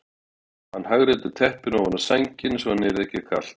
Og hann hagræddi teppinu ofan á sænginni svo henni yrði ekki kalt.